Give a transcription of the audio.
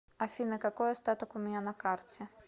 афина какой остаток у меня на карте